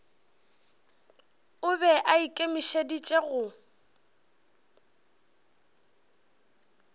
o be a ikemišeditše go